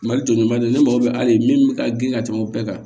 Mali jɔlen ba de ne mago bɛ ali min mi ka grin ka tɛmɛ o bɛɛ kan